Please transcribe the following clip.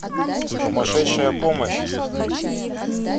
сумасшедшая помощь